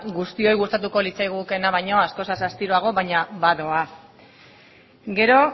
guztioi gustatuko litzaigukeena baino askoz astiroago baina badoa gero